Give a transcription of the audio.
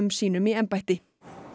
sínum í embætti